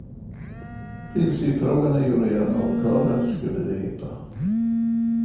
Principfrågan är ju redan avklarad, skulle det heta.